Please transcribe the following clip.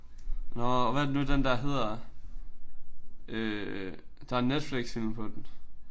Nåh og hvad er det nu den der hedder? Øh der er en Netflixfilm på den